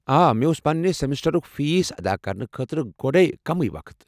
آ، مےٚ اوس پننہِ سمسٹرُک فیس ادا کرنہٕ خٲطرٕ گۄڈے کٔمٕیہ وقت۔